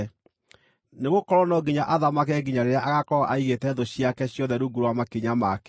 Nĩgũkorwo no nginya athamake nginya rĩrĩa agaakorwo aigĩte thũ ciake ciothe rungu rwa makinya make.